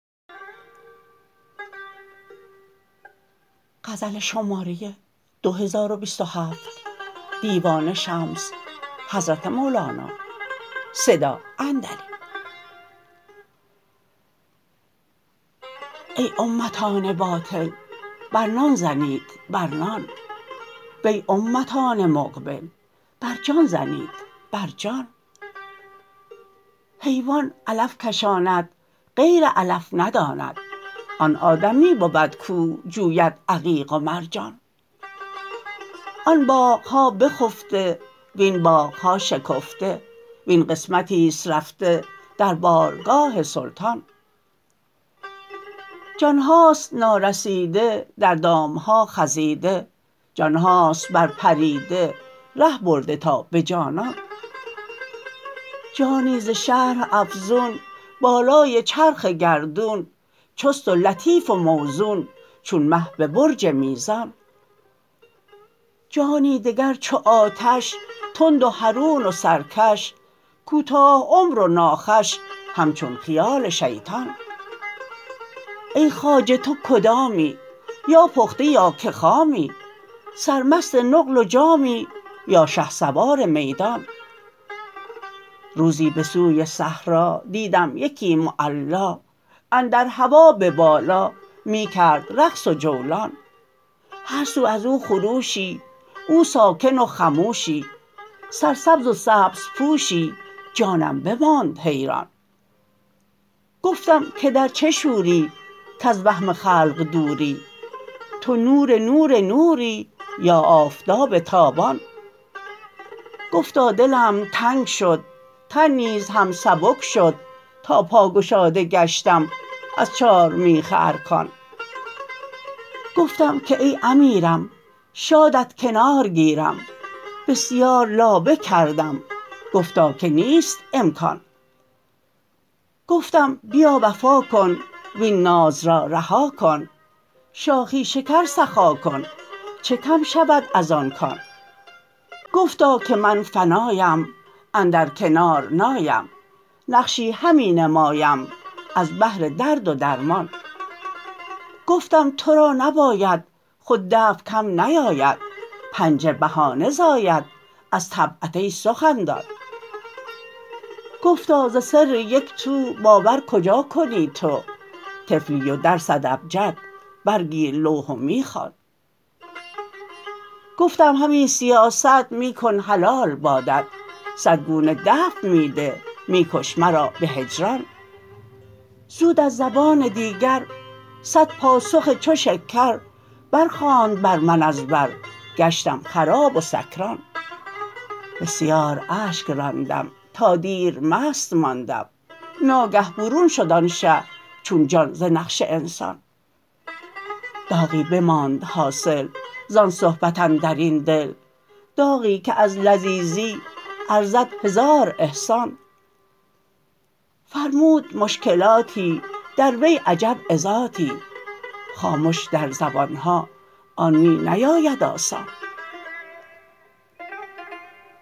ای امتان باطل بر نان زنید بر نان وی امتان مقبل بر جان زنید بر جان حیوان علف کشاند غیر علف نداند آن آدمی بود کاو جوید عقیق و مرجان آن باغ ها بخفته وین باغ ها شکفته وین قسمتی است رفته در بارگاه سلطان جان هاست نارسیده در دام ها خزیده جان هاست برپریده ره برده تا به جانان جانی ز شرح افزون بالای چرخ گردون چست و لطیف و موزون چون مه به برج میزان جانی دگر چو آتش تند و حرون و سرکش کوتاه عمر و ناخوش همچون خیال شیطان ای خواجه تو کدامی یا پخته یا که خامی سرمست نقل و جامی یا شهسوار میدان روزی به سوی صحرا دیدم یکی معلا اندر هوا به بالا می کرد رقص و جولان هر سو از او خروشی او ساکن و خموشی سرسبز و سبزپوشی جانم بماند حیران گفتم که در چه شوری کز وهم خلق دوری تو نور نور نوری یا آفتاب تابان گفتا دلم تنگ شد تن نیز هم سبک شد تا پاگشاده گشتم از چارمیخ ارکان گفتم که ای امیرم شادت کنار گیرم بسیار لابه کردم گفتا که نیست امکان گفتم بیا وفا کن وین ناز را رها کن شاخی شکر سخا کن چه کم شود از آن کان گفتا که من فنایم اندر کنار نایم نقشی همی نمایم از بهر درد و درمان گفتم تو را نباید خود دفع کم نیاید پنجه بهانه زاید از طبعت ای سخندان گفتا ز سر یک تو باور کجا کنی تو طفلی و درست ابجد برگیر لوح و می خوان گفتم همین سیاست می کن حلال بادت صد گونه دفع می ده می کش مرا به هجران زود از زبان دیگر صد پاسخ چو شکر برخواند بر من از بر گشتم خراب و سکران بسیار اشک راندم تا دیر مست ماندم تا که برون شد آن شه چون جان ز نقش انسان داغی بماند حاصل زان صحبت اندر این دل داغی که از لذیذی ارزد هزار احسان فرمود مشکلاتی در وی عجب عظاتی خامش در زبان ها آن می نیاید آسان